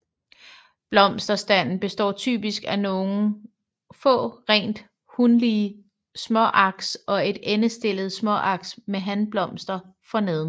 Blomsterstanden består typisk af nogle få rent hunlige småaks og ét endestillet småaks med hanblomster forneden